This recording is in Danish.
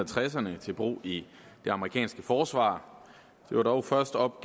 tresserne til brug i det amerikanske forsvar det var dog først op